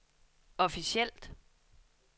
officielt